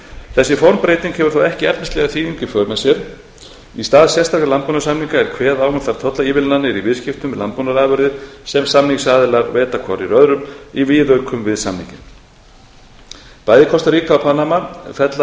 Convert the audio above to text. þessi formbreyting hefur þó ekki efnislega þýðingu í för með sér í stað sérstakra landbúnaðarsamninga er kveðið á um þær tollaívilnanir í viðskiptum með landbúnaðarafurðir sem samningsaðilar veita hvorir öðrum í viðaukum við samninginn bæði kostaríka og panama fella